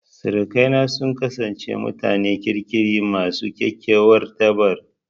Sirikaina sun kasance mutanen kirki masu kyakkyawar tarba.